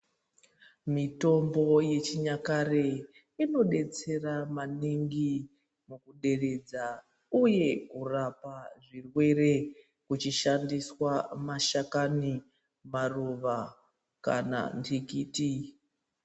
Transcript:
Mitombo yechinyakare inodetsera maningi kuderedza uye kurapa zvirwere. Ichishandisa mashakani, maruva kana nhikiti.